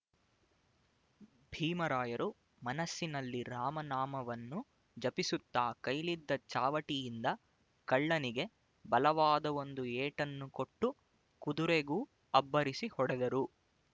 ಭೀಮರಾಯರು ಮನಸ್ಸಿನಲ್ಲಿ ರಾಮನಾಮವನ್ನು ಜಪಿಸುತ್ತ ಕೈಲಿದ್ದ ಚಾವಟಿಯಿಂದ ಕಳ್ಳನಿಗೆ ಬಲವಾದ ಒಂದು ಏಟನ್ನು ಕೊಟ್ಟು ಕುದುರೆಗೂ ಅಬ್ಬರಿಸಿ ಹೊಡೆದರು